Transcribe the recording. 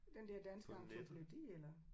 Den der danske encyklopædi eller?